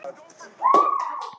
Farin illa hún er lest.